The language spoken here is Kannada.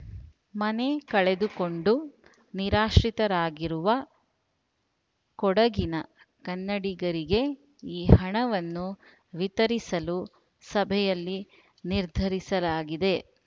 ಮನೆ ಕಳೆದುಕೊಂಡು ನಿರಾಶ್ರಿತರಾಗಿರುವ ಕೊಡಗಿನ ಕನ್ನಡಿಗರಿಗೆ ಈ ಹಣವನ್ನು ವಿತರಿಸಲು ಸಭೆಯಲ್ಲಿ ನಿರ್ಧರಿಸಲಾಗಿದೆ